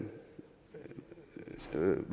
som